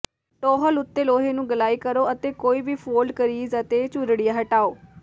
ਟੌਹਲ ਉੱਤੇ ਲੋਹੇ ਨੂੰ ਗਲਾਈ ਕਰੋ ਅਤੇ ਕੋਈ ਵੀ ਫੋਲਡ ਕਰੀਜ਼ ਅਤੇ ਝੁਰੜੀਆਂ ਹਟਾਓ